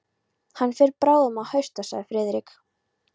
Hann fer bráðum að hausta sagði Friðrik.